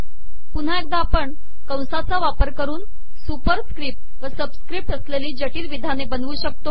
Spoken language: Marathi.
पुनहा एकदा आपण कसाचा वापर करन सुपरिसकपट व सबिसकपट असलेली जिटल िवधाने बनवू शकतो